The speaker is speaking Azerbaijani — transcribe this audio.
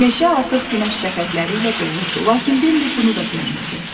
Meşə artıq günəş şəfəqləri ilə dolurdu, lakin Bembə bunu da görmürdü.